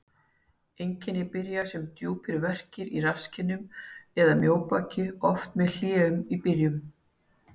Einkenni byrja sem djúpir verkir í rasskinnum eða mjóbaki, oft með hléum í byrjun.